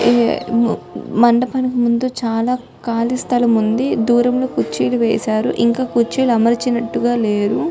మండపం ముందు చాలా ఖాళీ స్థలం ఉంది దూరంగా కుర్చీలు వేశారు ఇంకా అమర్చినట్టుగా లేరు